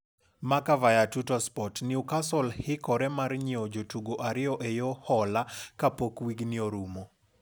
(Marca via Tuttosport) Newcastle hikore mar nyiew jotugo ariyo e yo hola kapok wigni orumo.